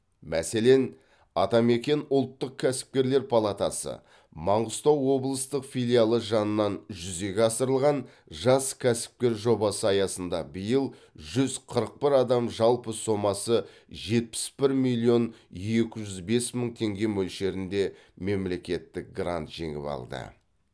мәселен атамекен ұлттық кәсіпкерлер палатасы маңғыстау облыстық филиалы жанынан жүзеге асырылған жас кәсіпкер жобасы аясында биыл жүз қырық бір адам жалпы сомасы жетпіс бір миллион екі жүз бес мың теңге мөлшерінде мемлекеттік грант жеңіп алды